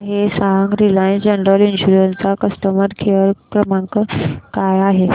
मला हे सांग रिलायन्स जनरल इन्शुरंस चा कस्टमर केअर क्रमांक काय आहे